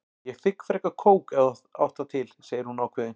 Ég þigg frekar kók ef þú átt það til, segir hún ákveðin.